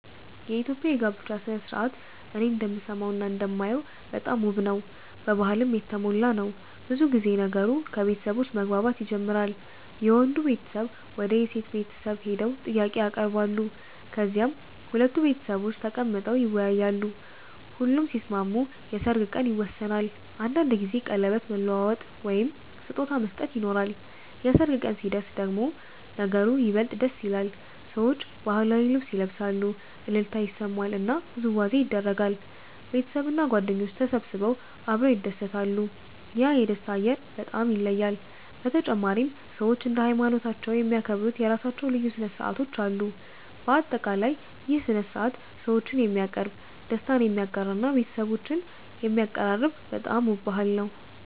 የኢትዮጵያ የጋብቻ ሥነ ሥርዓት እኔ እንደምሰማውና እንደማየው በጣም ውብ ነው፣ በባህልም የተሞላ ነው። ብዙ ጊዜ ነገሩ ከቤተሰቦች መግባባት ይጀምራል፤ የወንዱ ቤተሰብ ወደ የሴት ቤተሰብ ሄደው ጥያቄ ያቀርባሉ፣ ከዚያም ሁለቱ ቤተሰቦች ተቀምጠው ይወያያሉ። ሁሉም ሲስማሙ የሰርግ ቀን ይወሰናል፤ አንዳንድ ጊዜ ቀለበት መለዋወጥ ወይም ስጦታ መስጠት ይኖራል። የሰርግ ቀን ሲደርስ ደግሞ ነገሩ ይበልጥ ደስ ይላል፤ ሰዎች ባህላዊ ልብስ ይለብሳሉ፣ እልልታ ይሰማል እና ውዝዋዜ ይደረጋል። ቤተሰብና ጓደኞች ተሰብስበው አብረው ይደሰታሉ፤ ያ የደስታ አየር በጣም ይለያል። በተጨማሪም ሰዎች እንደ ሃይማኖታቸው የሚያከብሩት የራሳቸው ልዩ ሥነ ሥርዓቶች አሉ። በአጠቃላይ ይህ ሥነ ሥርዓት ሰዎችን የሚያቀርብ፣ ደስታን የሚያጋራ እና ቤተሰቦችን የሚያቀራርብ በጣም ውብ ባህል ነው።